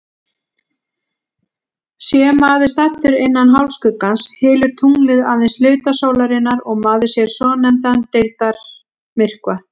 Sé maður staddur innan hálfskuggans, hylur tunglið aðeins hluta sólarinnar og maður sér svonefndan deildarmyrkva.